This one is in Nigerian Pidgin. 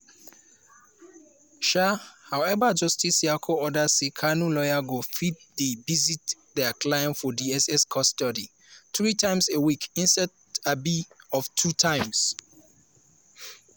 um however justice nyako order say kanu lawyers go fit dey visit dia client for dss custody three times a week instead um of two times.